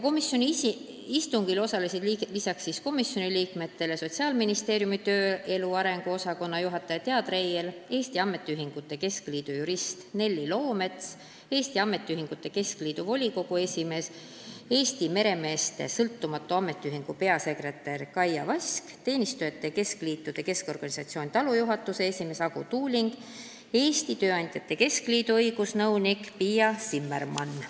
Istungil osalesid lisaks komisjoni liikmetele Sotsiaalministeeriumi tööelu arengu osakonna juhataja Thea Treier, Eesti Ametiühingute Keskliidu jurist Nelli Loomets, Eesti Ametiühingute Keskliidu volikogu esimees, Eesti Meremeeste Sõltumatu Ametiühingu peasekretär Kaia Vask, Teenistujate Ametiliitude Keskorganisatsiooni TALO juhatuse esimees Ago Tuuling ja Eesti Tööandjate Keskliidu õigusnõunik Piia Zimmermann.